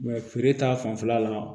feere ta fanfɛla la